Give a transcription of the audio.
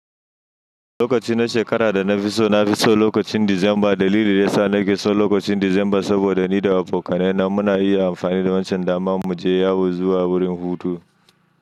Lokaci na shekara da na fi so, na fi son lokacin December. Dalili da ya sa nake so lokacin December saboda ni da abokanai na muna yi amfani da wancan daman mu je yawo zuwa wurin hutu.